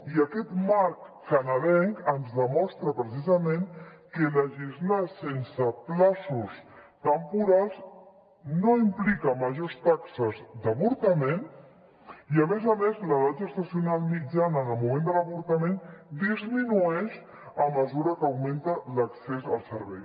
i aquest marc canadenc ens demostra precisament que legislar sense terminis temporals no implica majors taxes d’avortament i a més a més l’edat gestacional mitjana en el moment de l’avortament disminueix a mesura que augmenta l’accés al servei